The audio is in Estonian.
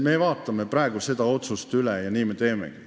Me vaatame praegu seda otsust üle, nii me teemegi.